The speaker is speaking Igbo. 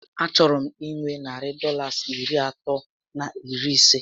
A chọrọ m inwe narị Dọlas iri atọ na iri isé